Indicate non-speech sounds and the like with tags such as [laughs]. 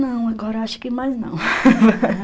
Não, agora acho que mais não. [laughs]